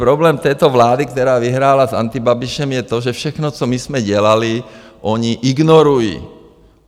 Problém této vlády, která vyhrála s antibabišem, je to, že všechno, co my jsme dělali, oni ignorují.